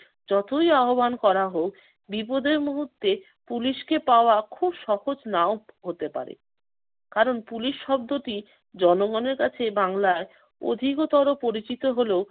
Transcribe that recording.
যতই আহ্বান করা হোক, বিপদের মুহূর্তে পুলিশকে পাওয়া খুব সহজ নাও হতে পারে। কারণ পুলিশ শব্দটি জনগণের কাছে বাংলায় অধিকতর পরিচিত হলেও